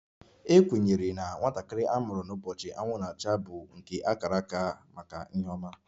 A kwenyere na nwatakịrị a mụrụ n'ụbọchị anwụ na-acha bụ nke a kara aka maka ihe ọma